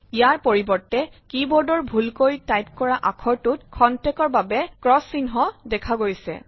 ইয়াৰ পৰিৱৰ্ত্তে কী বোৰ্ডৰ ভূলকৈ টাইপ কৰা আখৰটোত ক্ষন্তেকৰ বাবে ক্ৰছ চিহ্ন দেখা গৈছে